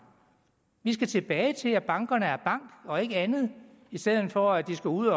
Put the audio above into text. vi skal tilbage til at bankerne er banker og ikke andet i stedet for at de skal ud